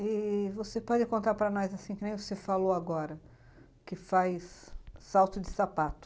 E você pode contar para nós, assim, que nem você falou agora, que faz salto de sapato.